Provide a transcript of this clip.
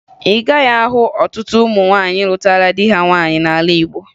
Ị gaghịzị ahụ ọtụtụ ụmụ nwaanyị lụtara di ha nwaanyị n'ala Igbo